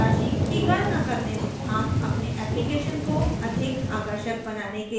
हम अपने application को अधिक आकर्षक बनाने के लिए तस्वीर भी जोड़ेंगे